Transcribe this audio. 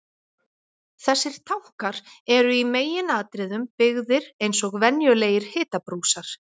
Þessir tankar eru í meginatriðum byggðir eins og venjulegir hitabrúsar.